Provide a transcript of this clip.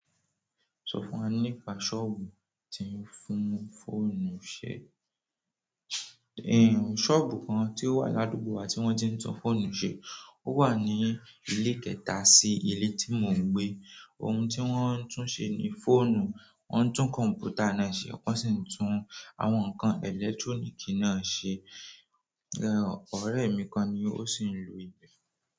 Sọ fún wa nípa sọ́ọ̀bù tí ń fún fóònù ṣe. Ẹ̀ ń, sọ́ọ̀bù kan tí ó wà ládùúgbò wa tí wọ́n ti ń tún fóònù ṣe. Ó wà ní ilé kẹta sí ilé tí mò ń gbé. Ohun tí wọ́n ń tún ṣe ni fóònù, wọ́n ń tún kọ̀m̀pútà náà ṣe, wọ́n sì ń tún àwọn ǹkan ẹ̀lẹ́túrónìkì náà ṣe. Ẹ̀ ẹ̀, ọ̀rẹ́ mi kan ni ó sì ń lò íbẹ.